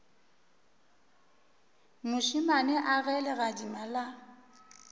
mošemane a ge legadima la